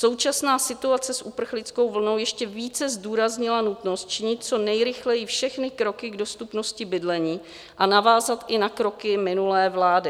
Současná situace s uprchlickou vlnou ještě více zdůraznila nutnost činit co nejrychleji všechny kroky k dostupnosti bydlení a navázat i na kroky minulé vlády.